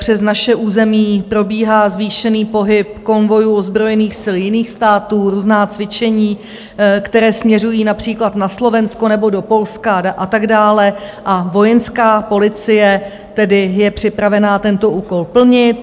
Přes naše území probíhá zvýšený pohyb konvojů ozbrojených sil jiných států, různá cvičení, která směřují například na Slovensko nebo do Polska a tak dále, a Vojenská policie tedy je připravena tento úkol plnit.